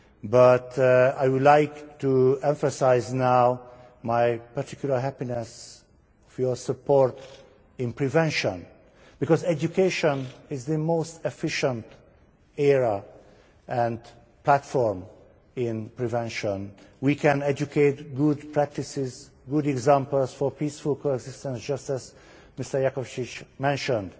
But I would like to emphasise now my particular happiness about your support for prevention, because education is the most efficient area and platform in prevention. We can educate good practices, good examples for peaceful coexistence just as Mr Jakovčić mentioned.